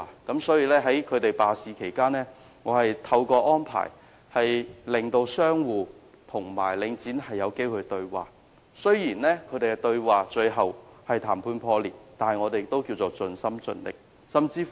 因此，在商戶罷市期間，我曾安排讓商戶和領展有機會對話，雖然雙方最終談判破裂，但我們也是盡心盡力的。